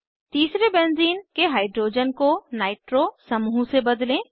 तीसरे benzene benzene के hydrogen को नाइट्रो नाइट्रो समूह से बदलें